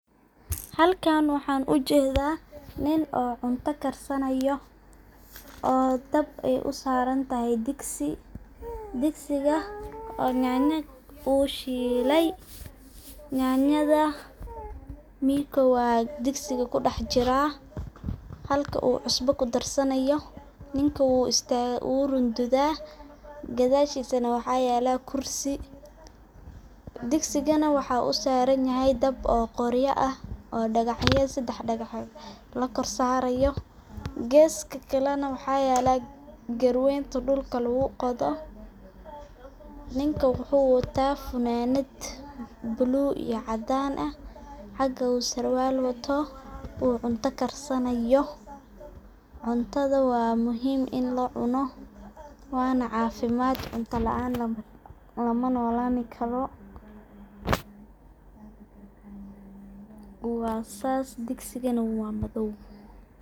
Halkan waxan u jedaa nin oo cunto karsanayo oo dab ay u sarantahay digsi. Digsiga uu yanyo uu shilay, mikow aa digsiga kudex jiraa halka uu cusbo kudarsanaya ,ninka uu runtada ,gadashisana waxa yala kursi .Digsigana waxa u saran dab oo sedex dagaxyo ah lakorsarayo, gesta kalena waxa yalo garweynta dhulka lagu qodho. Ninka wuxu wataa funanad bulug iyo cadan ah halka uu sarwal wato uu unto karsanayo ,cuntada waa muhim ini lacuno wana cafimad .cunto laan lama nolani karo waa sas digsigana waa madow.